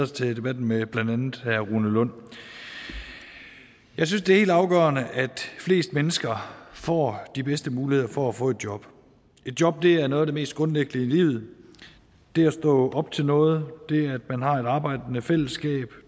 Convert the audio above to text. til debatten med blandt andet herre rune lund jeg synes det er helt afgørende at flest mennesker får de bedste muligheder for at få et job et job er noget af det mest grundlæggende i livet det at stå op til noget det at man har et arbejdende fællesskab